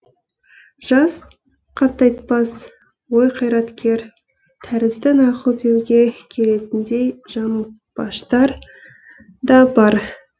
жас қартайтпас ой қайраткер тәрізді нақыл деуге келетіндей жаңылтпаштар да бар